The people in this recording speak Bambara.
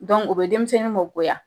Dɔnku o bɛ denmisɛnnin mɔ goya